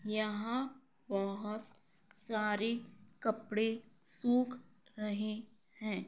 यहाँ बहुत सारे कपड़े सूख रहे हैं।